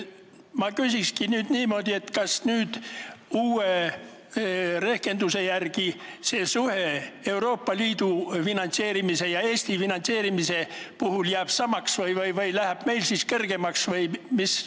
Ma küsingi nüüd niimoodi: kas uue rehkenduse järgi jääb see Euroopa Liidu ja Eesti finantseerimise suhe samaks või läheb meie olukord kergemaks?